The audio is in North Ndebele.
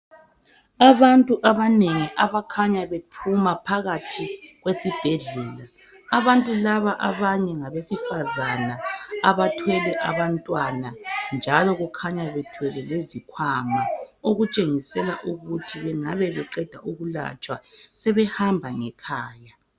Abantu abanengi abakhanya bephuma phakathi kwesibhedlela .Abantu laba abanye ngabesifazana abathwele abantwana njalo kukhanya bethwele lezikhwama okutshengisela ukuthi bengabe beqeda ukulatshwa sebehamba ngekhaya.